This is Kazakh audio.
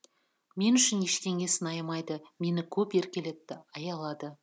мен үшін ештеңесін аямайды мені көп еркелетті аялады